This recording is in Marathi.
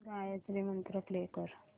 गायत्री मंत्र प्ले कर